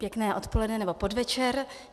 Pěkné odpoledne nebo podvečer.